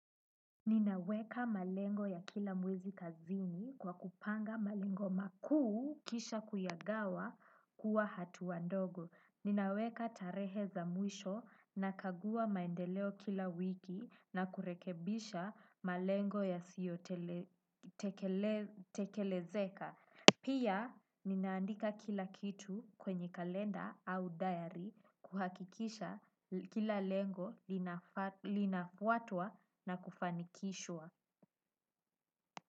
Ninaweka malengo ya kila mwizi kazini kwa kupanga malengo makuu kisha kuyagawa kuwa hatua ndogo. Ninaweka tarehe za mwisho na kagua maendeleo kila wiki na kurekebisha malengo yasiyo tekelezeka. Pia ninaandika kila kitu kwenye kalenda au diary kuhakikisha kila lengo linafwatwa na kufanikishwa.